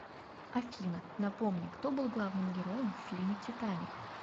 афина напомни кто был главным героеем в фильме титаник